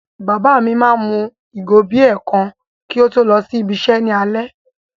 Bàbá mi máa mu ìgò bíà kan kí ó tó lọ ibi-iṣẹ́ ní alẹ́.